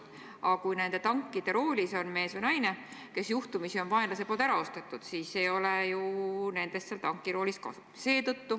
Aga kui nende tankide juhtkange hoiab mees või naine, kes juhtumisi on vaenlase poolt ära ostetud, siis ei ole ju nendest seal tankis kasu.